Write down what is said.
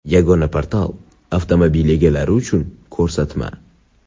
Yagona portal: avtomobil egalari uchun ko‘rsatma.